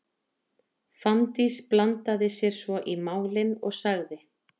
Fanndís blandaði sér svo í málin og sagði: